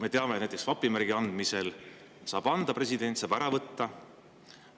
Me teame, et näiteks vapimärgi saab anda ja ära võtta president.